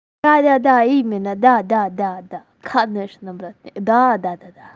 да-да-да именно да-да да-да конечно да-да-да-да-да